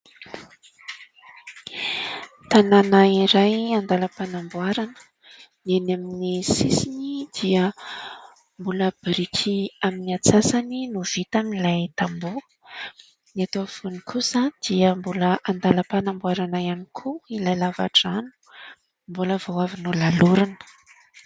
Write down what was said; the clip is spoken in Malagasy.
Tanàna iray andalam-panamboarana. Ny eny amin'ny sisiny dia mbola biriky amin'ny antsasany no vita amin'ilay tamboho. Ny eto afovoany kosa dia mbola andalam-panamboarana ihany koa ilay lava-drano mbola vao avy nolalorina.